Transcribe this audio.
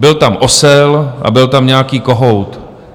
Byl tam osel a byl tam nějaký kohout.